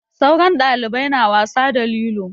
Sauran ɗalibai na wasa da lilo.